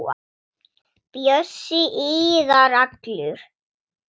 Bjössi iðar allur.